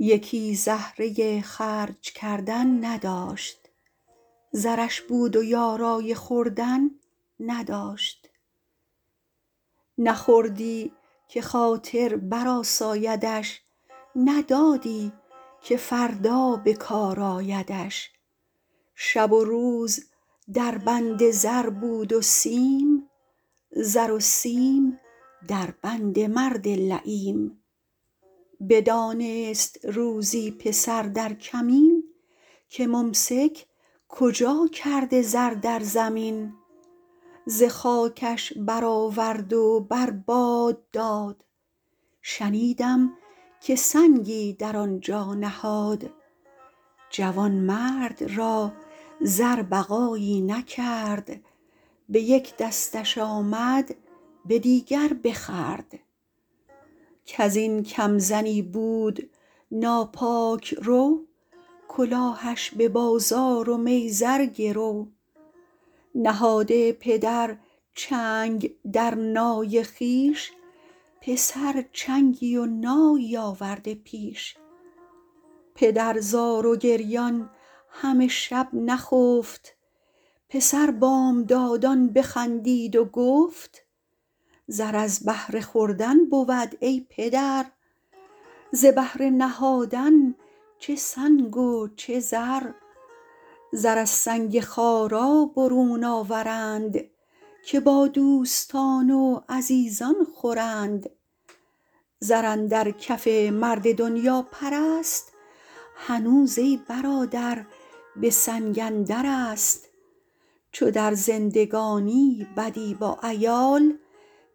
یکی زهره خرج کردن نداشت زرش بود و یارای خوردن نداشت نه خوردی که خاطر بر آسایدش نه دادی که فردا بکار آیدش شب و روز در بند زر بود و سیم زر و سیم در بند مرد لییم بدانست روزی پسر در کمین که ممسک کجا کرد زر در زمین ز خاکش بر آورد و بر باد داد شنیدم که سنگی در آن جا نهاد جوانمرد را زر بقایی نکرد به یک دستش آمد به دیگر بخورد کز این کم زنی بود ناپاک رو کلاهش به بازار و میزر گرو نهاده پدر چنگ در نای خویش پسر چنگی و نایی آورده پیش پدر زار و گریان همه شب نخفت پسر بامدادان بخندید و گفت زر از بهر خوردن بود ای پدر ز بهر نهادن چه سنگ و چه زر زر از سنگ خارا برون آورند که با دوستان و عزیزان خورند زر اندر کف مرد دنیاپرست هنوز ای برادر به سنگ اندرست چو در زندگانی بدی با عیال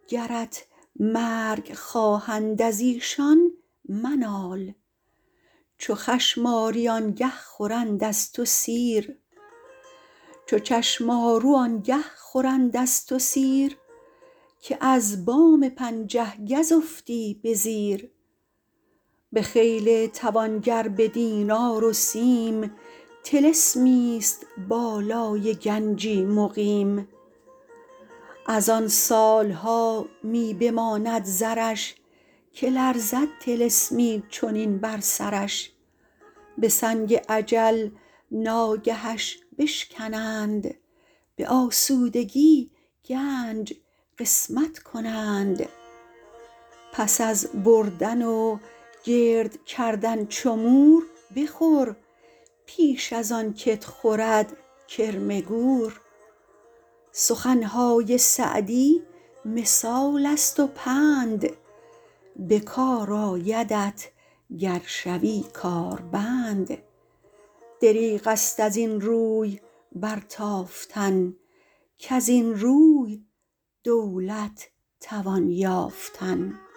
گرت مرگ خواهند از ایشان منال چو چشمآرو آنگه خورند از تو سیر که از بام پنجه گز افتی به زیر بخیل توانگر به دینار و سیم طلسمی است بالای گنجی مقیم از آن سالها می بماند زرش که لرزد طلسمی چنین بر سرش به سنگ اجل ناگهش بشکنند به اسودگی گنج قسمت کنند پس از بردن و گرد کردن چو مور بخور پیش از آن که ت خورد کرم گور سخنهای سعدی مثال است و پند به کار آیدت گر شوی کار بند دریغ است از این روی برتافتن کز این روی دولت توان یافتن